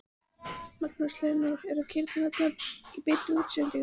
Magnús Hlynur: Og kýrnar eru þarna í beinni útsendingu?